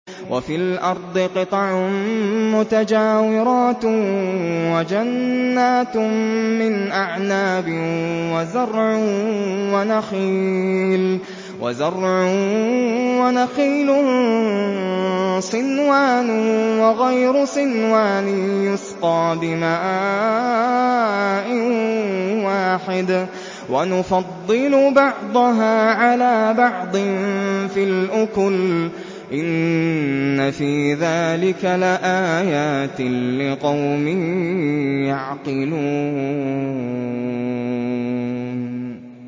وَفِي الْأَرْضِ قِطَعٌ مُّتَجَاوِرَاتٌ وَجَنَّاتٌ مِّنْ أَعْنَابٍ وَزَرْعٌ وَنَخِيلٌ صِنْوَانٌ وَغَيْرُ صِنْوَانٍ يُسْقَىٰ بِمَاءٍ وَاحِدٍ وَنُفَضِّلُ بَعْضَهَا عَلَىٰ بَعْضٍ فِي الْأُكُلِ ۚ إِنَّ فِي ذَٰلِكَ لَآيَاتٍ لِّقَوْمٍ يَعْقِلُونَ